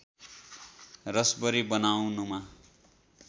रसवरी बनाउनमा